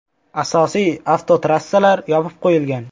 Asosiy avtotrassalar yopib qo‘yilgan.